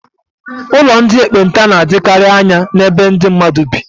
Ụlọ ndị ekpenta na-adịkarị anya n'ebe ndị mmadụ bi.